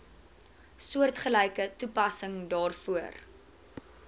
soortgelyke toepassing daarvoor